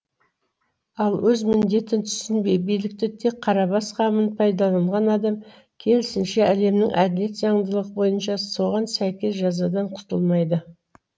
ал өз міндетін түсінбей билікті тек қарабас қамына пайдаланған адам керісінше әлемнің әділет заңдылығы бойынша соған сәйкес жазадан құтылмайды